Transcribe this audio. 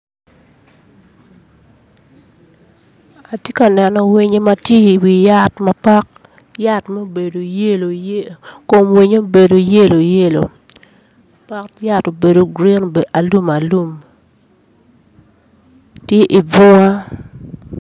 Atye ka neno winyo ma tye iwi yat ma pot yat ma obedo yelo yelo kom winyo obedo yelo yelo pot yat obedo gurin obedo alum alum tye i bunga